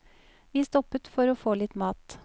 Vi stoppet for å få litt mat.